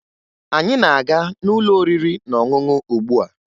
Anyị na-aga n'ụlọ oriri na ọṅụṅụ ugbua